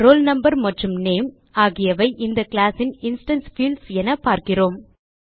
roll no மற்றும் name ஆகியவை இந்த கிளாஸ் ன் இன்ஸ்டான்ஸ் பீல்ட்ஸ் என பார்க்கிறோம்